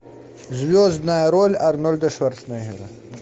звездная роль арнольда шварценеггера